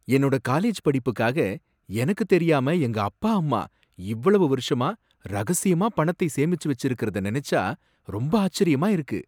என்னோட காலேஜ் படிப்புக்காக எனக்கு தெரியாம எங்க அப்பா அம்மா, இவ்வளவு வருஷமா ரகசியமா பணத்தை சேமிச்சு வச்சிருக்கறத நினைச்சா ரொம்ப ஆச்சரியமா இருக்கு.